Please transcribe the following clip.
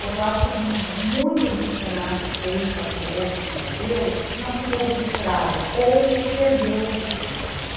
Porque eu acho que muito do que o se na que fez, atuou, desenvolveu, não ficou registrado ou se perdeu os registros.